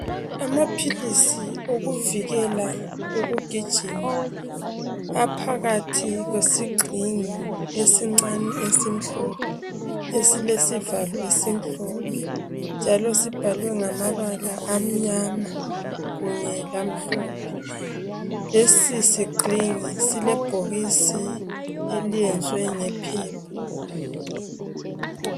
Amaphilisi okuvikela ukugijima, aphakathi kwesigxingi, esincane esimhlophe. Esilesivalo esimhlophe, njalo sibhalwe ngamabala amnyama, kanye lamhlophe. Lesisigxingi silebhokisi, eliyenziwe ngephepha.